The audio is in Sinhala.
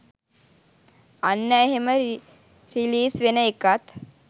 අන්න එහෙම රිලීස් වෙන එකත්